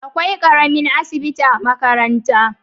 Akwai ƙaramin asibitin a makaranta.